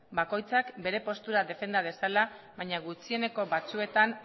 bakoitzak bere postura defenda dezala baina gutxieneko batzuetan